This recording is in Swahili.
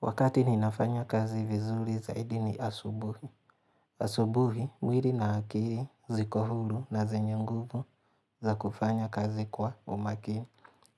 Wakati ninafanya kazi vizuri zaidi ni asubuhi. Asubuhi, mwili na akili, zikohuru na zenye nguvu za kufanya kazi kwa umakini.